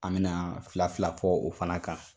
An bɛna fila fila fɔ o fana kan